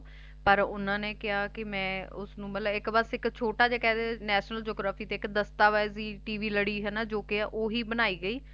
ਪਰ ਓਹਨਾ ਨੇ ਕਿਹਾ ਕਿ ਮੈ ਉਸਨੂੰ ਬਸ ਇਕ ਛੋਟਾ ਜਿਹਾ National Geography ਤੇ ਇਕ ਦਸਤਾਵੇਜ ਟੀਵੀ ਲੜੀ ਹੈਨਾ ਜੌ ਕਿ ਓਹੀ ਬਣਾਈ ਗਈ